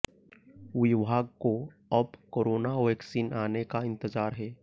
विभाग को अब कोरोना वैक्सीन आने का इंतजार है